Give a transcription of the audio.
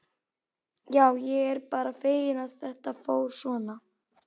Já, ég er bara feginn að þetta fór svona.